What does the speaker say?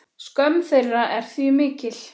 Skömm þeirra er því mikil.